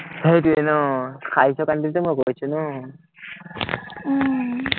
সেইটোৱে ন, খাইছ কাৰণেতো মই কৈছো ন